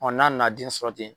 n'a na den sɔrɔ ten